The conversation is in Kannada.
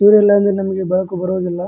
ಇವಾರ್ ಇಲ್ಲ ಅಂದ್ರೆ ನಮಗೆ ಬೆಳಕು ಬರುದಿಲ್ಲ.